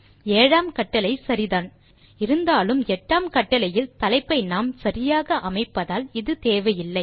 ஏழாம் கட்டளை சரிதான் இருந்தாலும் எட்டாம் கட்டளையில் தலைப்பை நாம் சரியாக அமைப்பதால் இது தேவையில்லை